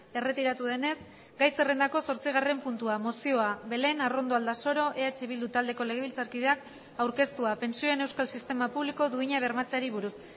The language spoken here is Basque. erretiratu denez gai zerrendako zortzigarren puntua mozioa belén arrondo aldasoro eh bildu taldeko legebiltzarkideak aurkeztua pentsioen euskal sistema publiko duina bermatzeari buruz